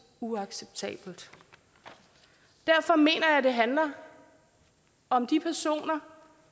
uacceptabelt derfor mener jeg at det handler om de personer